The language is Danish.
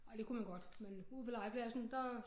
Ej det kunne man godt men ude på legepladsen der